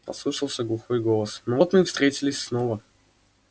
послышался глухой голос ну вот мы и встретились снова